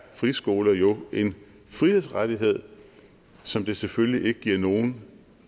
friskoler jo en frihedsrettighed som det selvfølgelig ikke giver nogen